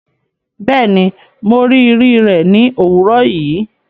Bẹẹni, Mo rii ri rẹ ni owurọ yii